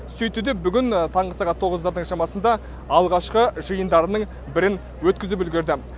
сөйтті де бүгін таңғы сағат тоғыздардың шамасында алғашқы жиындарының бірін өткізіп үлгерді